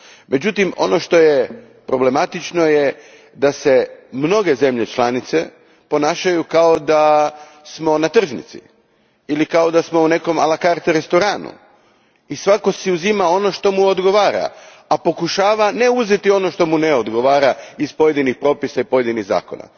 Međutim, ono što je problematično je da se mnoge zemlje članice ponašaju kao da smo na tržnici ili u nekom la carte restoranu i svatko si uzima ono što mu odgovara, a pokušava ne uzeti ono što mu ne odgovara iz pojedinih propisa i pojedinih zakona.